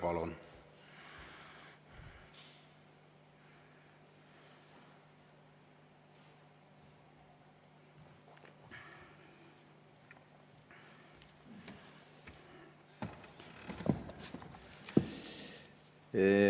Palun!